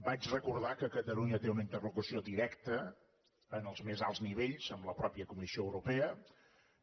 vaig recordar que catalunya té una interlocució directa en els més alts nivells amb la comissió europea mateixa